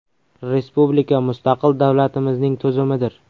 Respublika – mustaqil davlatimizning tuzumidir.